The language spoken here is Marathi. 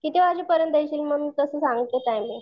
किती वाजेपर्यंत येशील मग मी तसं सांगते टाईमिंग.